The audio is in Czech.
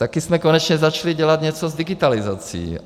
Taky jsme konečně začali něco dělat s digitalizací.